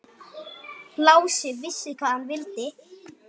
Lási vissi hvað hann vildi.